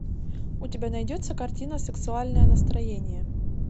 у тебя найдется картина сексуальное настроение